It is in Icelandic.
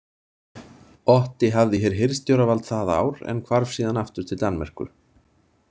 Otti hafði hér hirðstjóravald það ár en hvarf síðan aftur til Danmerkur.